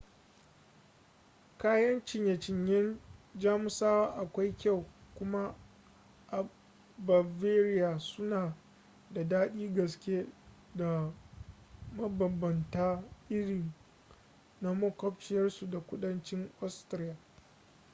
kayan ciye-ciyen jamusawa akwai kyau kuma a bavaria suna da daɗin gaske da mabambanta irin na maƙwabciyarsu ta kudanci austria